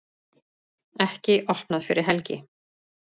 Ekki opnað fyrir helgi